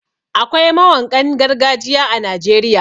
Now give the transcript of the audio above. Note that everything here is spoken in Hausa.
Akwai mawanƙan gargajiya a Najeriya.